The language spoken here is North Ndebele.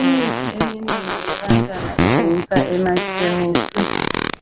imithi eminengi yabantwana ithengiswa emakhemesi